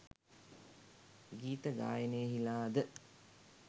ගීත ගායනයෙහිලා ද